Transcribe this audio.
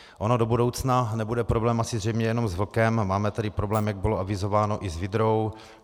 Ono do budoucna nebude problém asi zřejmě jenom s vlkem, máme tady problém, jak bylo avizováno, i s vydrou.